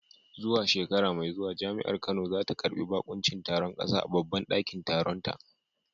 Zuwa shekara mai zuwa Jami’ar Kano za ta karbi bakuncin taron kasa a babban dakin taronta.